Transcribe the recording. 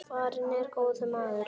Farinn er góður maður.